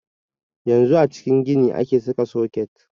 Yanzu a cikin gini ake saka soket.